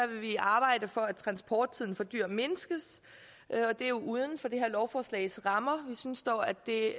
vi arbejde for at transporttiden for dyr mindskes det er uden for det her lovforslags rammer vi synes dog at det